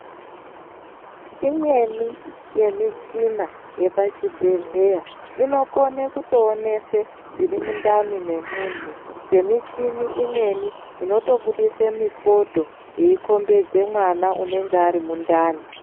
Imweni yemichina yepachibhedhleya inokone kutoonese zviri mundani memunhu semichini imweni inotobudise mifodho yeikhombedze mwana unenge ari mundani.